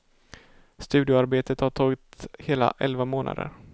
Studioarbetet har tagit hela elva månader.